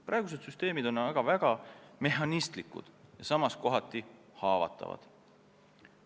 Praegused süsteemid on aga väga mehhanistlikud ja samas kohati haavatavad.